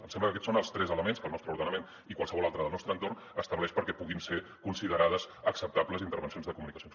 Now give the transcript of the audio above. em sembla que aquests són els tres elements que el nostre ordenament i qualsevol altre del nostre entorn estableix perquè puguin ser considerades acceptables intervencions de comunicacions